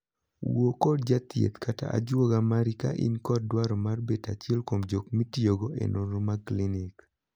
Wuo kod jathieth (ajuoga) mari ka in kod dwaro mar bet achiel kuom jok mitiyogo e nonro mag klinik.